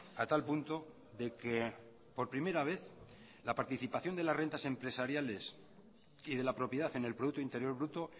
a tal punto de que por primera vez la participación de las rentas empresariales y de la propiedad en el producto interior bruto